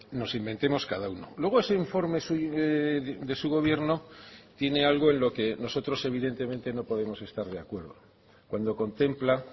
nos inventemos cada uno luego ese informe de su gobierno tiene algo en lo que nosotros evidentemente no podemos estar de acuerdo cuando contempla